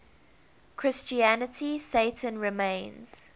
christianity satan remains